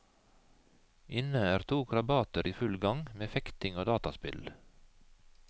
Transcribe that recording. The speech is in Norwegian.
Inne er to krabater i full gang med fekting og dataspill.